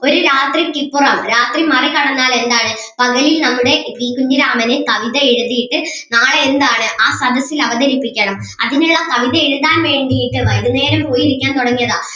ഒരു രാത്രിക്കിപ്പുറം രാത്രി മറികടന്നാൽ എന്താണ് പകലിൽ നമ്മുടെ പി കുഞ്ഞിരാമന് കവിത എഴുതിയിട്ട് നാളെ എന്താണ് ആ സദസ്സിൽ അവതരിപ്പിക്കണം അതിനുള്ള കവിത എഴുതാൻ വേണ്ടീട്ട് വൈകുന്നേരം പോയിരിക്കാൻ തുടങ്ങിയതാ